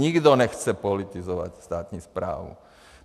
Nikdo nechce politizovat státní správu.